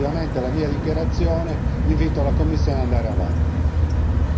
Nel concludere positivamente la mia dichiarazione, invito la Commissione ad andare avanti.